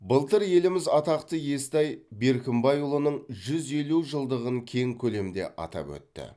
былтыр еліміз атақты естай беркімбайұлының жүз елу жылдығын кең көлемде атап өтті